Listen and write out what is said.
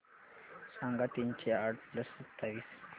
सांगा तीनशे आठ प्लस सत्तावीस काय